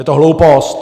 Je to hloupost.